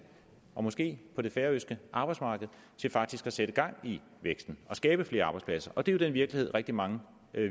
og måske det færøske arbejdsmarked til faktisk at sætte gang i væksten og skabe flere arbejdspladser det er jo den virkelighed rigtig mange